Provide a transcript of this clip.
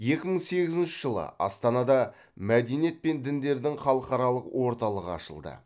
екі мың сегізінші жылы астанада мәдениет пен діндердің халықаралық орталығы ашылды